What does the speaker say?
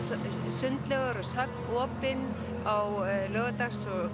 sundlaugar og söfn opin á laugardags